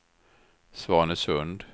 Svanesund